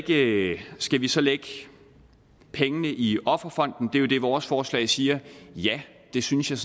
det skal vi så lægge pengene i offerfonden det er jo det vores forslag siger ja det synes jeg